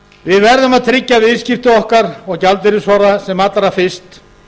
við verðum að tryggja viðskipti okkar og gjaldeyrisforða sem allra fyrst